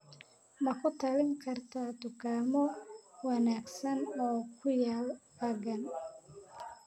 Ma ku talin kartaa dukaamo wanaagsan oo ku yaal aaggan?